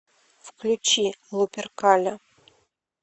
включи луперкаля